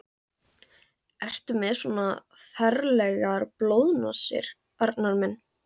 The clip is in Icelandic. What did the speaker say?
Ertu með svona ferlegar blóðnasir, Arnar minn?